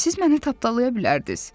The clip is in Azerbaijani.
Siz məni tapdalaya bilərdiniz.